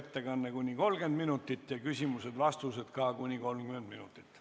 Ettekanne kuni 30 minutit ja küsimused-vastused ka kuni 30 minutit.